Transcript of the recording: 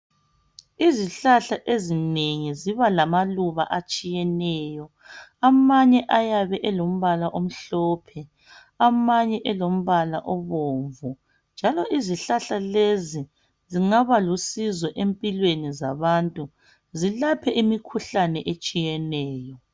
Izihlahla ezinengi ziba lamaluba atshiyeneyo. Amanye ayabe elombala omhlophe amanye elombala obomvu. Njalo izihlahla lezi zingaba lusizo empilweni zabantu zilaphe imikhuhlane etshiyeneyo.